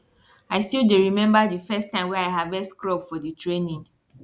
i still dey remember di first time wey i harvest crop for di training